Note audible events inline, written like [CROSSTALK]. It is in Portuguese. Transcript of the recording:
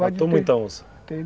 [UNINTELLIGIBLE] Matou muita onça? Matei.